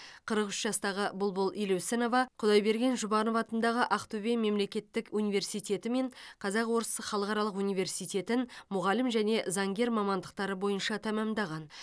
қырық үш жастағы бұлбұл елеусінова құдайберген жұбанов атындағы ақтөбе мемлекеттік университеті мен қазақ орыс халықаралық университетін мұғалім және заңгер мамандықтары бойынша тәмамдаған